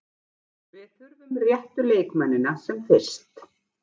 Við þurfum réttu leikmennina sem fyrst.